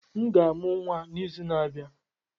M ga-amụ nwa n'izu na-abịa.